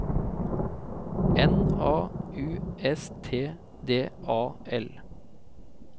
N A U S T D A L